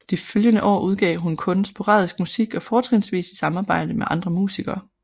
De følgende år udgav hun kun sporadisk musik og fortrinsvis i samarbejde med andre musikere